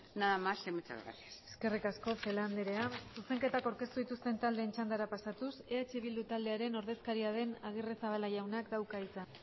nada más y muchas gracias eskerrik asko celaá andrea zuzenketak aurkeztu dituzten taldeen txandara pasatuz eh bildu taldearen ordezkaria den agirrezabala jaunak dauka hitza